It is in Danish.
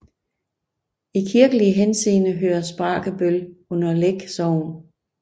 I kirkelig henseende hører Spragebøl under Læk Sogn